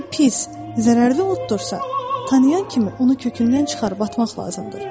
Lakin pis, zərərli otursa, tanıyan kimi onu kökündən çıxarıb atmaq lazımdır.